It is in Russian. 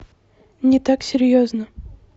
не так серьезно